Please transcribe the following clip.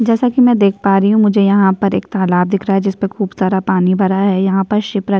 जैसा कि मैं देख पा रही हूं मुझे यहां पर एक तालाब दिख रहा है जिस पर खूब सारा पानी भरा है यहां पर शिप्रा --